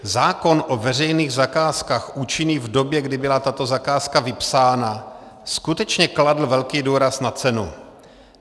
Zákon o veřejných zakázkách účinný v době, kdy byla tato zakázka vypsána, skutečně kladl velký důraz na cenu.